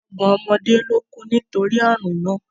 Ọgbọ̀n ọmọdé ló kú nítorí àrùn náà